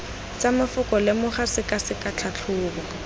tsa mafoko lemoga sekaseka tlhatlhoba